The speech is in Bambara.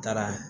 Taara